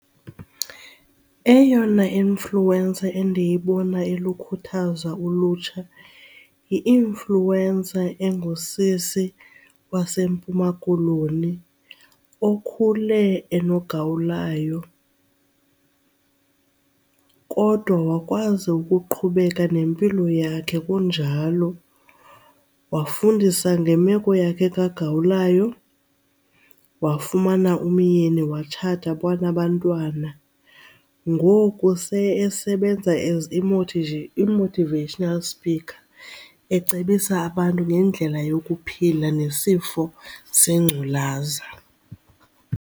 Eyona inlfuencer endiyibona ilukhuthaza ulutsha yi-influencer engusisi waseMpuma Koloni okhule enogawulayo kodwa wakwazi ukuqhubeka nempilo yakhe kunjalo. Wafundisa ngemeko yakhe kagawulayo, wafumana umyeni watshata wanabantwana. Ngoku seyesebenza as imotivational speaker ecebisa abantu ngendlela yokuphila nesifo sengculaza.